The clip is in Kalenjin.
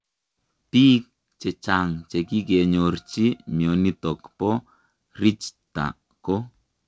Piik chechang chekikenyorchii mionitok po Rijta ko